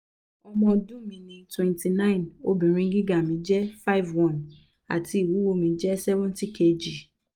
ọmọ ọdun mi ni twenty nine obinrin giga mi jẹ five one ati iwuwo mi jẹ seventy kgs